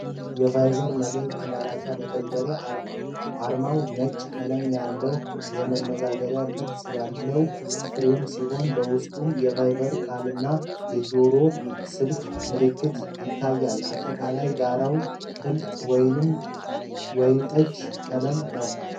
የቫይበር መልዕክት መላላኪያ መተግበሪያን አርማ ። አርማው ነጭ ቀለም ያለው የመነጋገሪያ ቅርፅ ያለው ፍሬም ሲሆን፣ በውስጡም የቫይበር ቃልና የጆሮ ስልክ ምልክት ይታያል። አጠቃላይ ዳራው ጥልቅ ወይን ጠጅ ቀለም ነው።